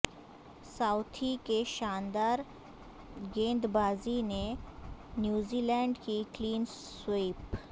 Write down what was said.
Southee کی شاندار گیندبازی سے نیوزی لینڈ کی کلین سویپ